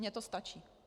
Mně to stačí.